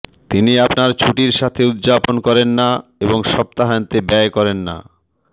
তিনি আপনার ছুটির সাথে উদযাপন করেন না এবং সপ্তাহান্তে ব্যয় করেন না